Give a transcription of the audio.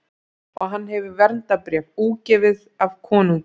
Og hann hefur verndarbréf, útgefið af konungi.